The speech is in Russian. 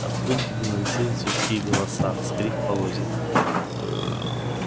откуда-то доносились людские голоса скрип полозьев